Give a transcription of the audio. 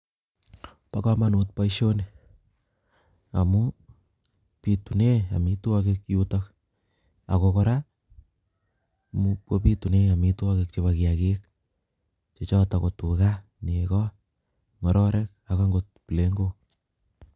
Bo kamanut boisioni amuun bituneen amitwagiik yutoon ako kora ko bituneen amitwagiik chebo kiagik che chotoon ko tugaah negooh ngororek ak akoot plegook.